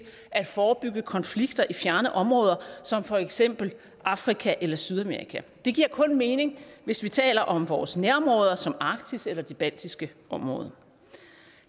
at forebygge konflikter i fjerne områder som for eksempel afrika eller sydamerika det giver kun mening hvis vi taler om vores nærområder som arktis eller det baltiske område